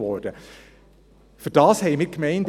Dafür haben wir die Gemeinde.